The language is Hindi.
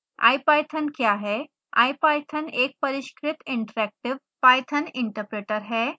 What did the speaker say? ipython क्या है